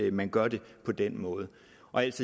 at man gør det på den måde